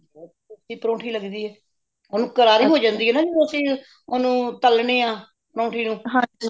ਪਰੌਂਠੀ ਲੱਗਦੀ ਹੈ ਓਹਨੂੰ ਕਰਾਰੀ ਹੋਜਾਂਦੇ ਜਦੋ ਅੱਸੀ ਓਹਨੂੰ ਤਲਣੇਆਂ ਪਰੌਂਠੀ ਨੂੰ